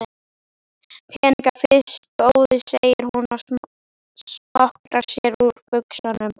Peningana fyrst góði, segir hún og smokrar sér úr buxunum.